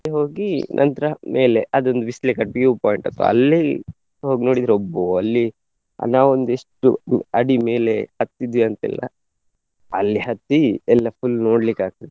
ಹೋಗಿ ನಂತ್ರ ಮೇಲೆ ಅದೊಂದು ಬಿಸ್ಲೆ ಘಾಟ್ view point ಅಪ್ಪಾ ಅಲ್ಲೇ ಹೋಗ್ ನೋಡಿದ್ರೆ ಅಬ್ಬಾ ಅಲ್ಲಿ ನಾವೊಂದು ಎಷ್ಟು ಉ~ ಅಡಿಮೇಲೆ ಹತ್ತಿದ್ವಿ ಅಂತ ಇಲ್ಲ. ಅಲ್ಲಿ ಹತ್ತಿ ಎಲ್ಲ full ನೋಡ್ಲಿಕ್ಕೆ ಆಗ್ತದೆ.